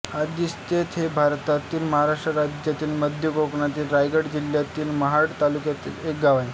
आदिस्ते हे भारतातील महाराष्ट्र राज्यातील मध्य कोकणातील रायगड जिल्ह्यातील महाड तालुक्यातील एक गाव आहे